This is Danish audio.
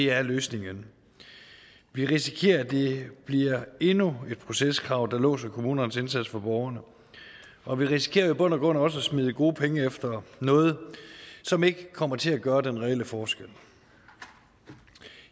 er løsningen vi risikerer at det bliver endnu et proceskrav der låser kommunernes indsats for borgerne og vi risikerer jo i bund og grund også at smide gode penge efter noget som ikke kommer til at gøre en reel forskel